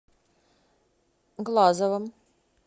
глазовым